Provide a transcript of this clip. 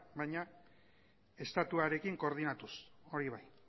baina estatuarekin koordinatuz hori bai